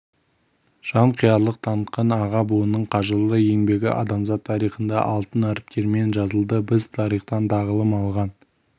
жанқиярлық танытқан аға буынның қажырлы еңбегі адамзат тарихында алтын әріптермен жазылды біз тарихтан тағылым алған